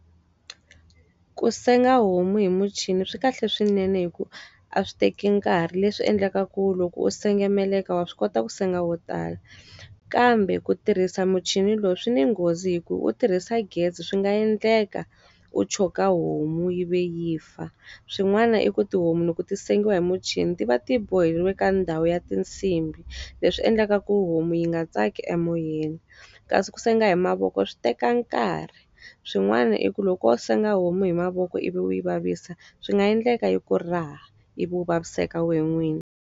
Ku senga homu hi muchini swi kahle swinene hikuva a swi teki nkarhi, leswi endlekaka loko u senga meleka wa swi kota ku senga wo tala. Kambe ku tirhisa muchini loyi swi ni nghozi hikuva wu tirhisa gezi swi nga endleka, wu choka homu yi va yi fa. Swin'wana i ku tihomu loko ti sengiwa hi muchini ti va ti boheriwe ka ndhawu ya tinsimbi, leswi endlaka ku homu yi nga tsaki emoyeni. Kasi ku senga hi mavoko swi teka nkarhi. Swin'wana i ku loko wo senga homu hi mavoko ivi u yi vavisa swi nga endleka yi ku raha ivi u vaviseka wena n'wini.